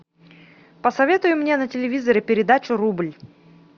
посоветуй мне на телевизоре передачу рубль